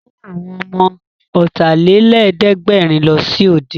Mú àwọn ọmọ Ọ̀tàlélẹ̀ẹ́dẹ́gbẹ̀rin lọ sí òde!